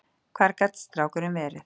Hvar gat strákurinn verið?